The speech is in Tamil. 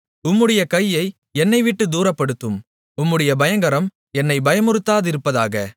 உம்முடைய கையை என்னைவிட்டுத் தூரப்படுத்தும் உம்முடைய பயங்கரம் என்னை பயமுறுத்தாதிருப்பதாக